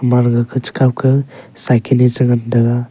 male le gabchi khao ke cycle le chu ngan tega.